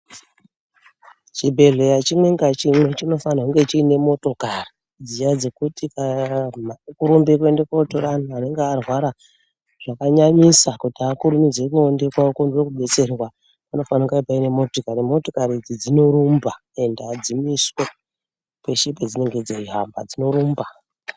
Chibhedhleya chimwe ngachimwe chinofanira kunge chiine motokari dziya dzekuti kana weirumbe kootora anhu anonga arwara zvakanyanyisa kuti akurumidze kuende koodetserwa panofanira paine motokari, motokari idzi dzinorumba ende adzimiswi peshe padzinenge dzeihamba dzinorumba.